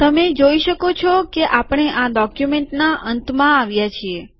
તમે જોઈ શકો છો કે આપણે આ ડોક્યુમેન્ટના અંતમાં આવ્યા છીએ